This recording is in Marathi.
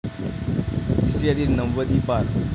तिसरी यादी नव्वदीपार